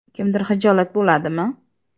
Kimdir xijolat bo‘ladimi?.